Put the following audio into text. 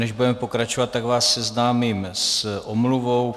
Než budeme pokračovat, tak vás seznámím s omluvou.